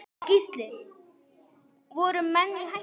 Gísli: Voru menn í hættu?